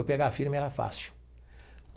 Eu pegar firme era fácil.